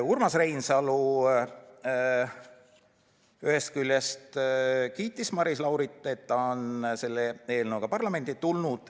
Urmas Reinsalu ühest küljest kiitis Maris Laurit, et ta on selle eelnõuga parlamenti tulnud.